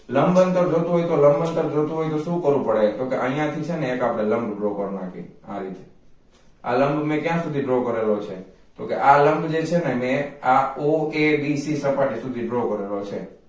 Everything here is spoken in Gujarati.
લંબ અંતર જોતું હોય તો લંબ અંતર જોતું હોય તો શુ કરવુ પડે તો કે અહીંથી આપણે છે ને એક લંબ draw કર નાખીએ આ રીતે. આ લંબ મે ક્યાં સુધી draw કરેલો છે તો કે આ લંબ જે છે ને મે એ આ oabc સપાટી સુધી draw કરેલો છે